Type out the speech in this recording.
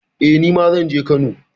Eh, nima zan je Kano.